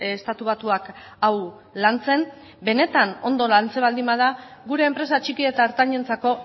estatu batuak hau lantzen benetan ondo lantzen baldin bada gure enpresa txiki eta ertainentzako